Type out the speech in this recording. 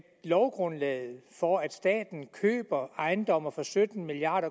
lovgrundlaget for at staten køber ejendomme for sytten milliard